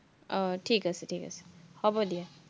আহ ঠিক আছে ঠিক আছে, হব দিয়া।